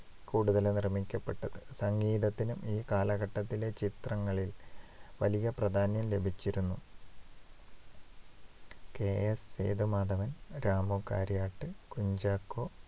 കൂടുതലായും നിർമ്മിക്കപ്പെട്ടത്. സംഗീതത്തിനും ഈ കാലക്കട്ടതിലെ ചിത്രങ്ങളിൽ വലിയ പ്രാധാന്യം ലഭിച്ചിരുന്നു. കെ. എസ്. സേതുമാധവൻ, രാമു കാര്യാട്ട്, കുഞ്ചാക്കോ,